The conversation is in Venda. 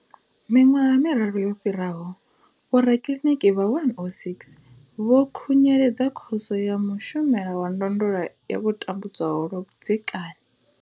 Miṅwaha miraru yo fhiraho, vhorakiḽiniki vha 106 vho khunyeledza Khoso ya Mushumeli wa Ndondolo ya vho tambudzwaho lwa vhudzekani.